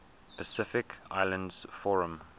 pacific islands forum